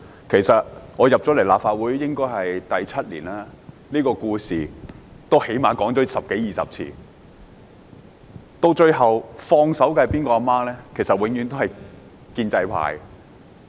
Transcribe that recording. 其實，我進入立法會第七年，這故事已說了最少十多二十次，到最後放手的母親是哪一位呢？